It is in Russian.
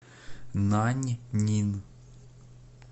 наньнин